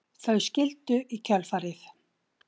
Þau skildu í kjölfarið